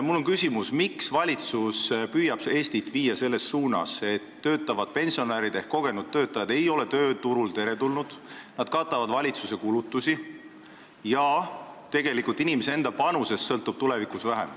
Mul on küsimus, miks valitsus püüab Eestit viia selles suunas, et töötavad pensionärid ehk kogenud töötajad ei ole tööturul teretulnud, nad katavad valitsuse kulutusi ja inimese enda panusest sõltub tulevikus vähem.